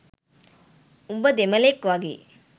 උඹ දෙමළෙක් වගේ